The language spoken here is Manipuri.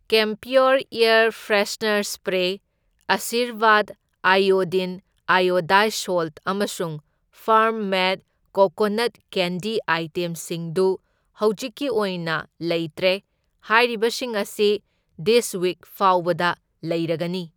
Camphor air freshener spray, Aashirvaad iodine iodised salt, ꯑꯃꯁꯨꯡ ꯐꯥꯔꯝ ꯃꯦꯗ ꯀꯣꯀꯣꯅꯠ ꯀꯦꯟꯗꯤ ꯑꯥꯏꯇꯦꯝꯁꯤꯡꯗꯨ ꯍꯧꯖꯤꯛꯀꯤ ꯑꯣꯏꯅ ꯂꯩꯇ꯭ꯔꯦ, ꯍꯥꯏꯔꯤꯕꯁꯤꯡ ꯑꯁꯤ ꯗꯤꯁ ꯋꯤꯛ ꯐꯥꯎꯕꯗ ꯂꯩꯔꯒꯅꯤ꯫